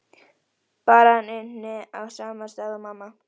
Bara að hann ynni á sama stað og mamma.